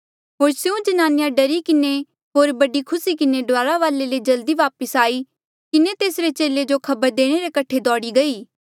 होर स्यों ज्नानिया डरी किन्हें होर बड़ी खुसी किन्हें डुआरा वाले ले जल्दी वापस आई किन्हें तेसरे चेले जो खबर देणे रे कठे दोड़ी गई